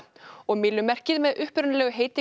og myllumerkið með upprunalegu heiti